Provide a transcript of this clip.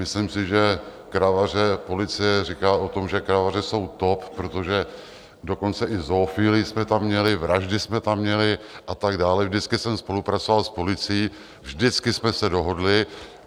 Myslím si, že Kravaře, policie říká o tom, že Kravaře jsou top, protože dokonce i zoofilii jsme tam měli, vraždy jsme tam měli a tak dále, vždycky jsem spolupracoval s policií, vždycky jsme se dohodli.